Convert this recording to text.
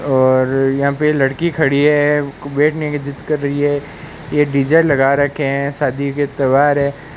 और यहां पे लड़की खड़ी है बैठने की जिद कर रही है ये डी_जे लगा रखे हैं शादी के त्यौहार है।